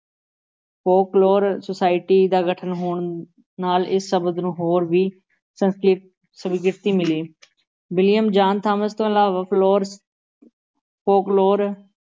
folklore society ਦਾ ਗਠਨ ਹੋਣ ਨਾਲ ਇਸ ਸ਼ਬਦ ਨੂੰ ਹੋਰ ਵੀ ਸਵੀਕ੍ਰਿਤੀ ਮਿਲੀ ਵਿਲੀਅਮ ਜਾਨ ਥਾਮਸ ਤੋਂ ਇਲਾਵਾ ਫਲੋਰ ਫੋਕਲੋਰ